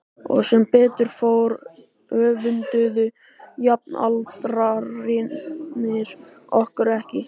Og sem betur fór öfunduðu jafnaldrarnir okkur ekki.